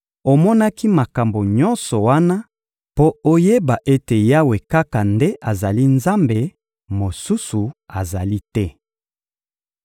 Omonaki makambo nyonso wana mpo oyeba ete Yawe kaka nde azali Nzambe, mosusu azali te.